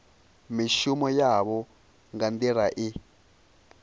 mishumo yavho nga nḓila i